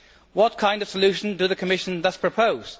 What kind of solution does the Commission propose?